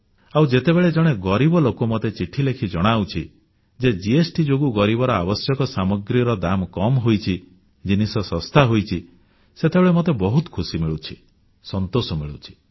ଆଉ ଯେତେବେଳେ ଜଣେ ଗରିବ ଲୋକ ମୋତେ ଚିଠି ଲେଖି ଜଣାଉଛି ଯେ ଜିଏସଟି ଯୋଗୁଁ ଗରିବର ଆବଶ୍ୟକ ସାମଗ୍ରୀର ଦାମ କମ୍ ହୋଇଛି ଜିନିଷ ଶସ୍ତା ହୋଇଛି ସେତେବେଳେ ମତେ ବହୁତ ଖୁସି ମିଳୁଛି ସନ୍ତୋଷ ମିଳୁଛି